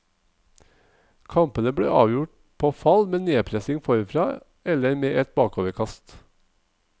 Kampene ble avgjort på fall med nedpressing forfra eller med et bakoverkast.